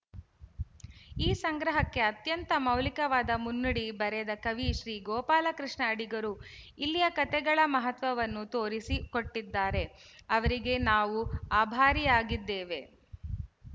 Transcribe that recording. ಈ ಸಂಗ್ರಹಕ್ಕೆ ಅತ್ಯಂತ ಮೌಲಿಕವಾದ ಮುನ್ನುಡಿ ಬರೆದ ಕವಿ ಶ್ರೀ ಗೋಪಾಲಕೃಷ್ಣ ಅಡಿಗರು ಇಲ್ಲಿಯ ಕತೆಗಳ ಮಹತ್ವವನ್ನು ತೋರಿಸಿ ಕೊಟ್ಟಿದ್ದಾರೆ ಅವರಿಗೆ ನಾವು ಆಭಾರಿಯಾಗಿದ್ದೇವೆ